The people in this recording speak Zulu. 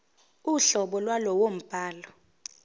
uhlobo lwalowo mbhalo